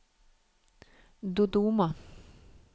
Dodoma